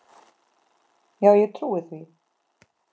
Já, ég trúi því.